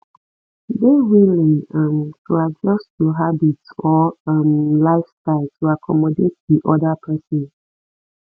dey willing um to adjust your habits or um lifestyle to accomodate di oda person